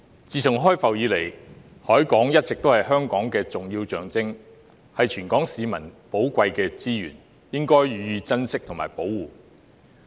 自從開埠以來，海港一直是香港的重要象徵，是全港市民的寶貴資源，應予以珍惜和保護。